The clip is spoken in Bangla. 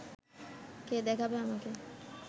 কে দেখাবে আমাকে